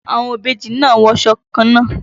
Àwọn ìbejì náà ń wọṣọ kannáà.